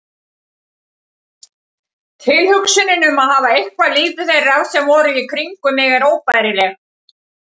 Tilhugsunin um að hafa eitrað líf þeirra sem voru í kringum mig er óbærileg.